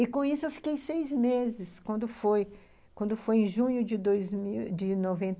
E com isso eu fiquei seis meses, quando foi em junho de dois e mil, de noventa.